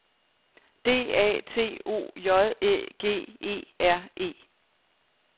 D A T O J Æ G E R E